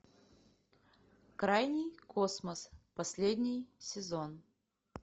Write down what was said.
крайний космос последний сезон